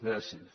gràcies